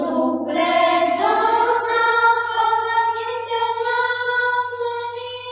ಶುಭ್ರ ಜ್ಯೋತ್ಸ್ನಾ ಫುಲಕಿತಯಾಮಿನೀಂ